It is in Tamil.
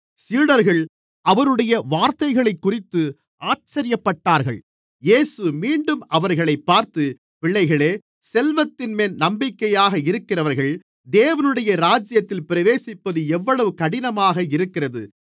சீடர்கள் அவருடைய வார்த்தைகளைக்குறித்து ஆச்சரியப்பட்டார்கள் இயேசு மீண்டும் அவர்களைப் பார்த்து பிள்ளைகளே செல்வத்தின்மேல் நம்பிக்கையாக இருக்கிறவர்கள் தேவனுடைய ராஜ்யத்தில் பிரவேசிப்பது எவ்வளவு கடினமாக இருக்கிறது